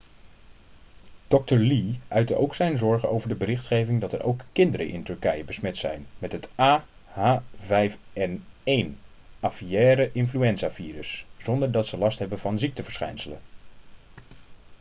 dokter lee uitte ook zijn zorgen over de berichtgeving dat er ook kinderen in turkije besmet zijn met het ah5n1 aviaire-influenzavirus zonder dat ze last hebben van ziekteverschijnselen